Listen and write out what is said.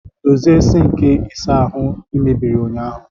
Dozie sink ụlọ ịsa ahụ ị mebiri ụnyaahụ!